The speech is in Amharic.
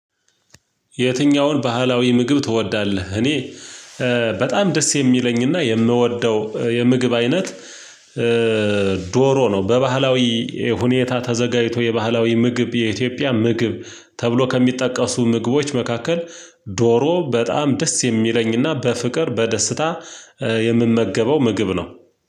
የትኛውን ባህላዊ ምግብ ትወዳለህ? እኔ በጣም ደስ የሚለኝና የምወደው የምግብ አይነት ዶሮ ነው። በባህላዊ ሁኔታ ተዘጋጅቶ የባህላዊ ምግብ የኢትዮጵያ ምግብ ተብሎ ከሚጠቀሱ ምግቦች መካከል ዶሮ በጣም ደስ የሚለኝና በፍቅር በደስታ የምመገበው ምግብ ነው።